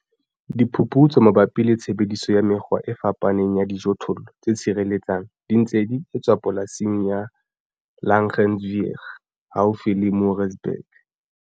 Diphuputso mabapi le tshebediso ya mekgwa e fapaneng ya dijothollo tse tshireletsang di ntse di etswa Polasing ya Diphuputso ya Langgewens haufi le Moorreesburg.